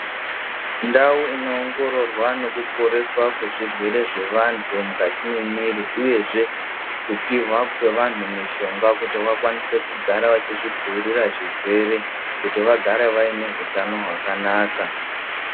Ndau inoongororwa nekuporeswa kwezvirwere zvevantu mukati memwiri uye zvee kupihwa kwevanhu mishonga kuti vakwanise kugara vachizvidzivirira zvirwere kuti vagare vaine hutano hwakanaka.